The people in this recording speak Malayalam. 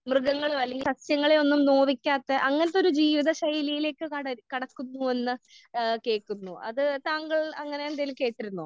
മൃഗങ്ങളെ അല്ലെങ്കിൽ സസ്യങ്ങളെ ഒന്നും നോവിക്കാത്ത അങ്ങനത്തെ ഒരു ജീവിത ശൈലിയിലേക്ക് കട കടക്കുന്നു എന്ന് ഏഹ് കേൾക്കുന്നു. അത് താങ്കൾ അങ്ങനെ എന്തെങ്കിലും കേട്ടിരുന്നോ?